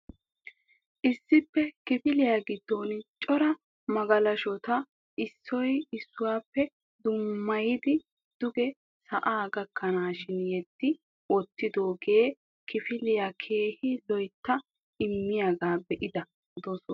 Issi kifiliya giddon cora magalashshota issuwa issuwappe dummayddi duge sa'a gakkanashin yeddi wottidoogee kifiliyassi keehin lo"otetta immiyaaga be'ada dossas .